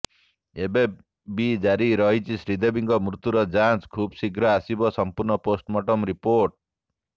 ଏବେ ବି ଜାରି ରହିଛି ଶ୍ରୀଦେବୀଙ୍କ ମୃତ୍ୟୁର ଯାଞ୍ଚ ଖୁବ୍ ଶୀଘ୍ର ଆସିବ ସମ୍ପୂର୍ଣ୍ଣ ପୋଷ୍ଟମୋର୍ଟମ ରିପୋର୍ଟ